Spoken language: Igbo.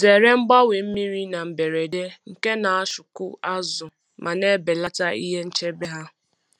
Zere mgbanwe mmiri na mberede nke na ashọkụ azụ ma na-ebelata ihe nchebe ha.